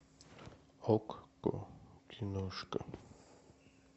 окко киношка